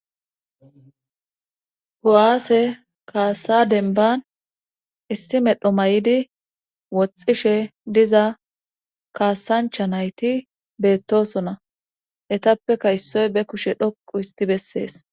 Hu7aase kaasa denban issi medho may7di woxxishe diza kaasancha nayti beettosona etappeka issoy be kushe dhoqu histi bessees.